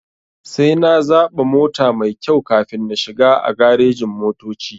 Sai na zaɓa mota maikyau kafin na shiga a garejin-motoci.